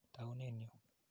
Taunen yu.